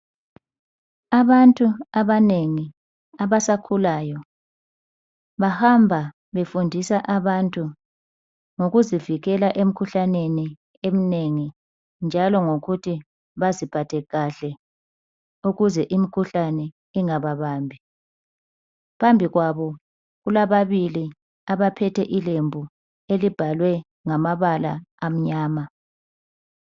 Abantu abanengi abasakhulayo bahamba befundisa abantu ngokuzivikela emkhuhlaneni eminengi njalo ngokuthi baziphathe kahle ukuze imkhuhlane ingababambi .Phambi kwabo kulabili abaphethe ilembu elibhalwe ngamabala amnyama